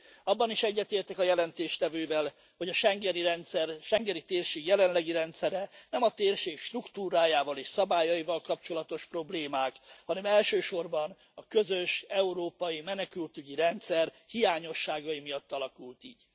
Abban is egyetértek a jelentéstevővel, hogy a schengeni rendszer, a schengeni térség jelenlegi rendszere nem a térség struktúrájával és szabályaival kapcsolatos problémák, hanem elsősorban a közös európai menekültügyi rendszer hiányosságai miatt alakult így.